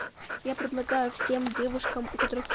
я предлагаю всем девушкам у которых